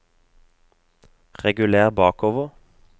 reguler bakover